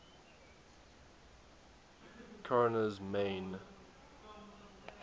korner's main